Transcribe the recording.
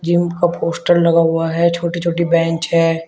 Gym का poster लगा हुआ है छोटी छोटी बेंच है।